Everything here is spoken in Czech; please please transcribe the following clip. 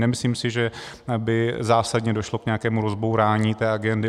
Nemyslím si, že by zásadně došlo k nějakému rozbourání té agendy.